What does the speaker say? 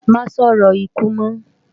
Má sòrò ikú mò